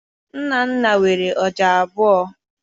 Nnanna nwere ọja abụọ.